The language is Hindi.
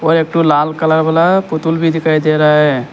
एक दो लाल कलर वाला है पुतुल भी दिखाई दे रहा है।